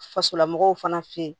Fasolamɔgɔw fana fɛ yen